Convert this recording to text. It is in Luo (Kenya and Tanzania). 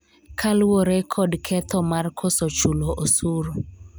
kaluwore kod ketho mar koso chulo osuru